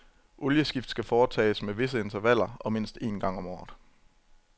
Olieskift skal foretages med visse intervaller og mindst en gang om året.